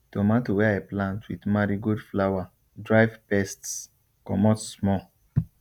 tomato wey i plant with marigold flower drive pests comot small